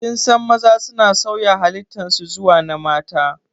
Kinsan maza suna sauya halittan su zuwa na mata